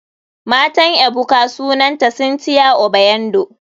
Matan ebuka sunanta cynthia obiando.